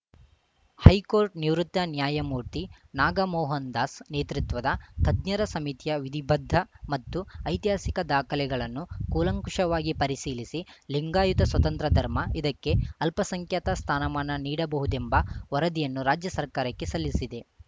high court ನಿವೃತ್ತ ನ್ಯಾಯಮೂರ್ತಿ ನಾಗಮೋಹನ್ ದಾಸ್ ನೇತೃತ್ವದ ತಜ್ಞರ ಸಮಿತಿಯ ವಿಧಿಬದ್ದ ಮತ್ತು ಐತಿಹಾಸಿಕ ದಾಖಲೆಗಳನ್ನು ಕೂಲಂಕಷವಾಗಿ ಪರಿಶೀಲಿಸಿ ಲಿಂಗಾಯುತ ಸ್ವತಂತ್ರ ಧರ್ಮ ಇದಕ್ಕೆ ಅಲ್ಪಸಂಖ್ಯಾತ ಸ್ಥಾನಮಾನ ನೀಡಬಹುದೆಂಬ ವರದಿಯನ್ನು ರಾಜ್ಯ ಸರ್ಕಾರಕ್ಕೆ ಸಲ್ಲಿಸಿದೆ